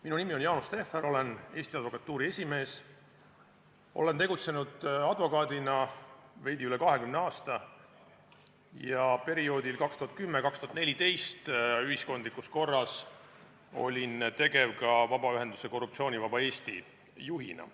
Minu nimi on Jaanus Tehver, olen Eesti Advokatuuri esimees, olen tegutsenud advokaadina veidi üle 20 aasta ja perioodil 2010–2014 olnud ühiskondlikus korras tegev ka vabaühenduse Korruptsioonivaba Eesti juhina.